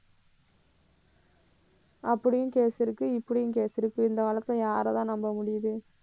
அப்படியும் case இருக்கு இப்படியும் case இருக்கு. இந்த காலத்துல யாரைத்தான் நம்ப முடியுது